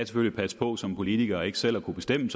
skal passe på som politikere ikke selv at kunne bestemme